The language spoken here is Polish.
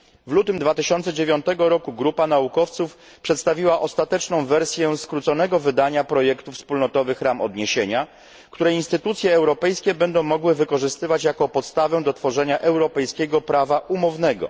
W lutym 2009 roku grupa naukowców przedstawiła ostateczną wersję skróconego wydania projektu wspólnotowych ram odniesienia, które instytucje europejskie będą mogły wykorzystywać jako podstawę do tworzenia europejskiego prawa umownego.